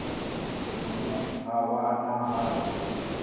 hune ha vha na hatsi